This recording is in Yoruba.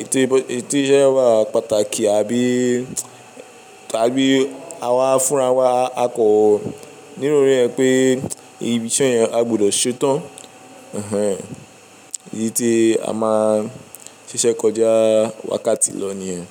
Éti iṣẹ́ yẹn wà pàtàkì àbí, àbí àwa fúnra wa a kọ̀ ọ nínú orí ẹ pé ibi iṣẹ́ yẹn a gbọ́dọ̀ ṣe tán. Èyí tí a máa ń ṣiṣẹ́ kọjá wákàtí lọ nìyẹn.